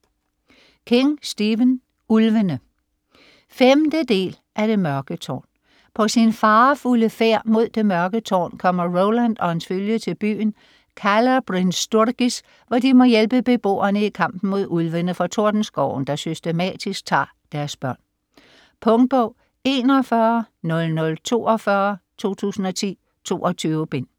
King, Stephen: Ulvene 5. del af Det mørke tårn. På sin farefulde færd mod Det Mørke Tårn kommer Roland og hans følge til byen Calla Bryn Sturgis, hvor de må hjælpe beboerne i kampen mod Ulvene fra Tordenskoven, der systematisk tager deres børn. Punktbog 410042 2010. 22 bind.